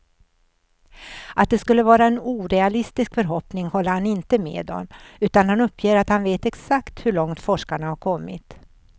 Att det skulle vara en orealistisk förhoppning håller han inte med om, utan uppger att han vet exakt hur långt forskarna har kommit.